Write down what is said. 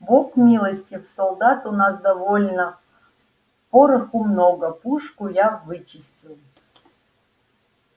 бог милостив солдат у нас довольно пороху много пушку я вычистил